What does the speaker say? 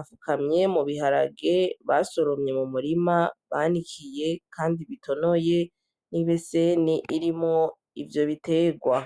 afukamye mu biharage basorumye mu murima banikiye, kandi bitonoye n'ibe seni irimo ivyo biterwa.